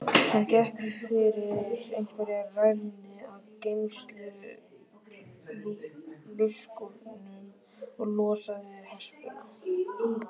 Hann gekk fyrir einhverja rælni að geymsluskúrnum og losaði hespuna.